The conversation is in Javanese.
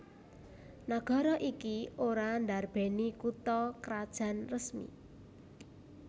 Nagara iki ora ndarbèni kutha krajan resmi